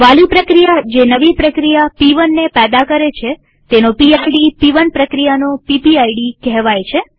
વાલી પ્રક્રિયા જે નવી પ્રક્રિયા પ1 ને પેદા કરે છે તેનો પીડ પ1 પ્રક્રિયાનો પીપીઆઈડી કહેવાય છે